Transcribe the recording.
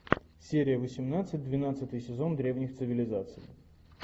серия восемнадцать двенадцатый сезон древних цивилизаций